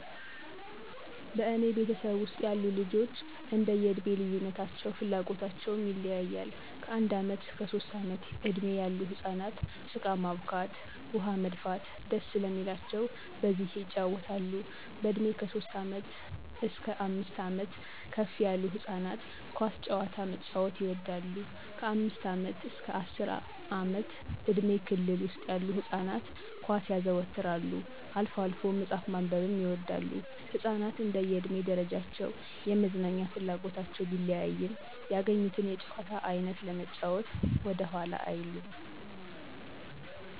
በእኔ ቤተሰብ ውስጥ ያሉ ልጆች እንደዬ እድሜ ልዩነታቸው ፍላጎታቸውም ይለያያል። ከአንድ ዓመት እስከ ሦስት ዓመት እድሜ ያሉ ህፃናት ጭቃ ማቡካት፣ ውኃ መድፋት ደስ ስለሚላቸው በዚህ የጫወታሉ፣ በእድሜ ከሦስት ዓመት እስከ አምስት ዓመት ከፍ ያሉት ህፃናት ኳስ ጨዋታ መጫዎት ይወዳሉ፣ ከአምስት ዓመት አስከ አስር ዓመት እድሜ ክልል ውስጥ ያሉ ህፃናት ኳስ ያዘወትራሉ፣ አልፎ አልፎ መጽሐፍ ማንበብም ይወዳሉ። ህፃናት እንደየ እድሜ ደረጃቸው የመዝናኛ ፍላጎታቸው ቢለያይም ያገኙትን የጨዋታ አይነት ለመጫዎት ወደኋላ አይሉም።